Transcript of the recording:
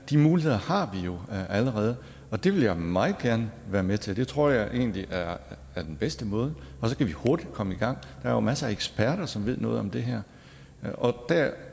de muligheder har vi jo allerede det vil jeg meget gerne være med til det tror jeg egentlig er den bedste måde så kan vi hurtigt komme i gang er jo masser af eksperter som ved noget om det her